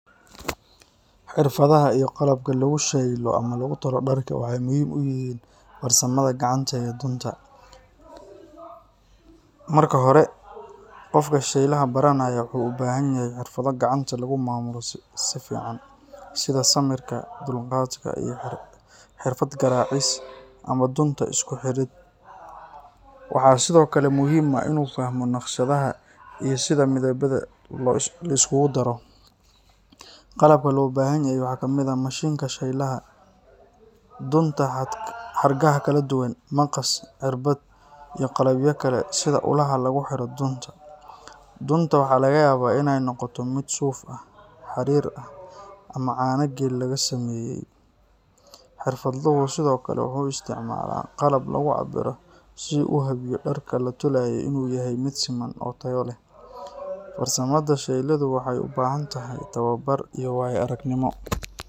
Xirfadaha iyo qalabka lagu shaylo ama lagu tolo dharka waxay muhiim u yihiin farsamada gacanta ee dunta. Marka hore, qofka shaylaha baranaya wuxuu u baahan yahay xirfado gacanta lagu maamulo si fiican, sida samirka, dulqaadka, iyo xirfad garaacis ama dunta isku xidhid. Waxaa sidoo kale muhiim ah inuu fahmo naqshadaha iyo sida midabada loo isugu daro. Qalabka loo baahan yahay waxaa ka mid ah mashiinka shaylaha , dunta xadhkaha kala duwan, maqas, irbad, iyo qalabyo kale sida ulaha lagu xiro dunta. Dunta waxaa laga yaabaa inay noqoto mid suuf ah, xariir ah, ama caano geel laga sameeyay. Xirfadluhu sidoo kale wuxuu isticmaalaa qalab lagu cabbiro si uu u hubiyo dharka la tolaya inuu yahay mid siman oo tayo leh. Farsamada shaylidu waxay u baahan tahay tababar iyo waayo-aragnimo.